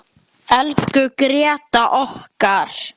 Elsku Gréta okkar.